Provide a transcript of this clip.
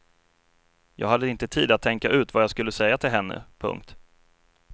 Jag hade inte tid att tänka ut vad jag skulle säga till henne. punkt